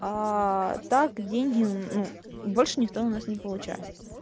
так деньги ну больше никто у нас не получает